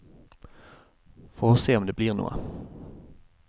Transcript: For å se om det blir noe.